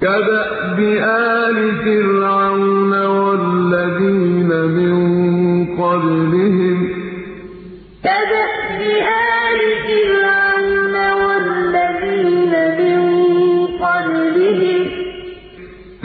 كَدَأْبِ آلِ فِرْعَوْنَ ۙ وَالَّذِينَ مِن قَبْلِهِمْ ۚ